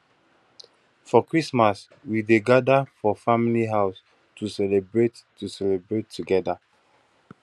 for christmas we dey gather for family house to celebrate to celebrate together